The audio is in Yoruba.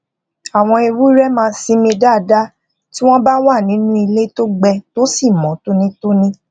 àwọn ewúré máa sińmi dáadá tí wón bá wà nínú ilé tó gbẹ tó sì mó tóní